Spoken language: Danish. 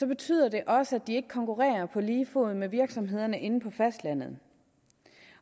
betyder det også at de ikke konkurrerer på lige fod med virksomhederne inde på fastlandet